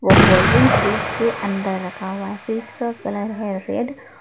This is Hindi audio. वो कोल्डरिंग फ्रीज के अंदर रखा हुआ है फ्रीज का कलर है रेड --